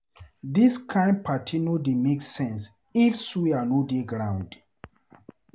Dis kain party no dey make sense if suya no dey groung.